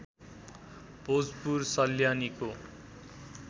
Bhojpur सल्यानीको